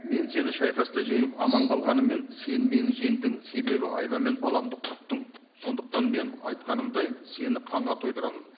мен сені шайқаста жеңіп аман қалғаныммен сен мені жеңдің себебі айла мен баламды құрттың сондықтан мен айтқанымдай сені қанға тойдырамын